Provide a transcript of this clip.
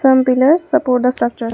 Some pillars support the structure.